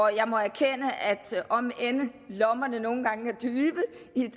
jeg må erkende at om end lommerne nogle gange